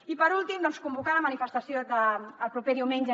i per últim doncs convocar la manifestació del proper diumenge